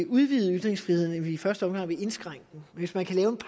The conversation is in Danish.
udvide ytringsfriheden end vi i første omgang vil indskrænke den hvis man kan lave en